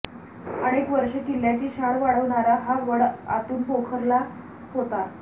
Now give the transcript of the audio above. अनेक वर्षे किल्ल्याची शान वाढवणारा हा वड आतून पोखरला होता